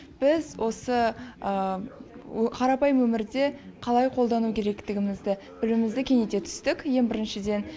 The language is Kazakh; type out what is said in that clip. біз осы қарапайым өмірде қалай қолдану керектігімізді білімімізді кеңейте түстік ең біріншіден